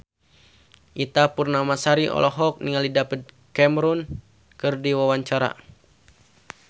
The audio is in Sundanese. Ita Purnamasari olohok ningali David Cameron keur diwawancara